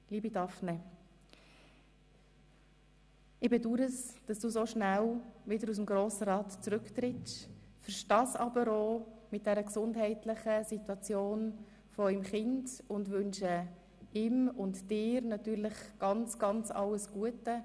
Liebe Daphné, ich bedaure, dass du so schnell wieder aus dem Grossen Rat zurücktrittst, verstehe es angesichts der gesundheitlichen Situation eures Kindes aber auch und wünsche ihm und dir natürlich alles Gute.